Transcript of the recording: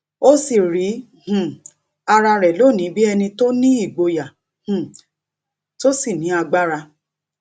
ó sì rí um ara rè lónìí bí ẹni tó nígboyà um tó sì ní agbára